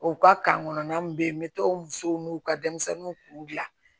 U ka kan kɔnɔna min bɛ yen n bɛ to o musow n'u ka denmisɛnninw kun gilan